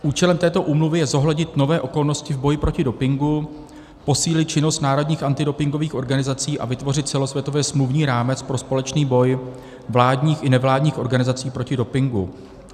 Účelem této Úmluvy je zohlednit nové okolnosti v boji proti dopingu, posílit činnost národních antidopingových organizací a vytvořit celosvětově smluvní rámec pro společný boj vládních i nevládních organizací proti dopingu.